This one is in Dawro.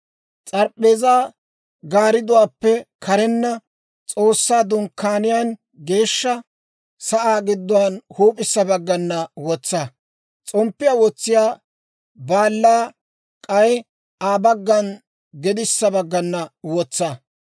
S'arp'p'eezaa gaardduwaappe karenna, S'oossaa Dunkkaaniyaan geeshsha sa'aa gidduwaan huup'issa baggan wotsa; s'omppiyaa wotsiyaa baalaa k'ay Aa baggan gedissa baggana wotsa.